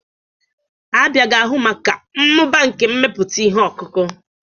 Abia ga-ahụ maka mmụba nke mmepụta ihe ọkụkụ.